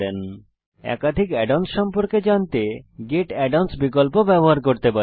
আপনি একাধিক add ons সম্পর্কে জানতে গেট add অন্স বিকল্প ব্যবহার করতে পারেন